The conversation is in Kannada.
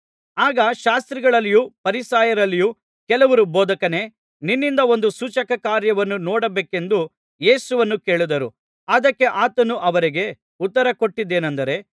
ಆಗ ಶಾಸ್ತ್ರಿಗಳಲ್ಲಿಯೂ ಫರಿಸಾಯರಲ್ಲಿಯೂ ಕೆಲವರು ಬೋಧಕನೇ ನಿನ್ನಿಂದ ಒಂದು ಸೂಚಕಕಾರ್ಯವನ್ನು ನೋಡಬೇಕೆಂದು ಯೇಸುವನ್ನು ಕೇಳಿದರು ಅದಕ್ಕೆ ಆತನು ಅವರಿಗೆ ಉತ್ತರಕೊಟ್ಟದ್ದೇನಂದರೆ